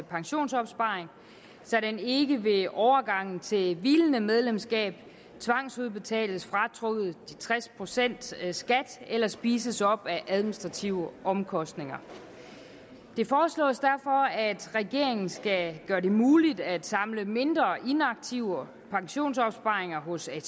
pensionsopsparing så den ikke ved overgangen til hvilende medlemskab tvangsudbetales fratrukket tres procent skat eller spises op af administrative omkostninger det foreslås derfor at regeringen skal gøre det muligt at samle mindre inaktive pensionsopsparinger hos atp